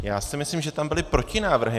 Já si myslím, že tam byly protinávrhy.